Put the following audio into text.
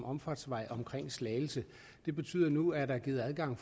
omfartsvej omkring slagelse det betyder at nu er der givet adgang